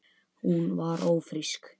Hún var ófrísk.